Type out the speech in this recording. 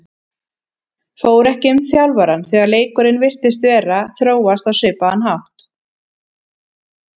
Fór ekki um þjálfarann þegar leikurinn virtist vera að þróast á svipaðan hátt?